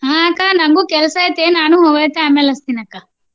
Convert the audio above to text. ಹಾ ಅಕ್ಕಾ ನಂಗೂ ಕೆಲ್ಸಾ ಐತಿ ನಾನು ಆಮ್ಯಾಲ ಹಚ್ಚ್ತಿನ ಅಕ್ಕಾ.